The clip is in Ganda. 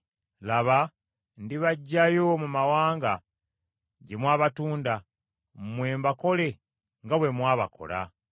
“Laba, ndibaggyayo mu mawanga gye mwabatunda; mmwe mbakole nga bwe mwabakola.